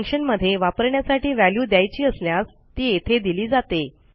फंक्शनमध्ये वापरण्यासाठी व्हॅल्यू द्यायची असल्यास ती येथे दिली जाते